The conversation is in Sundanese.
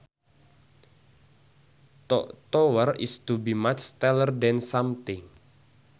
To tower is to be much taller than something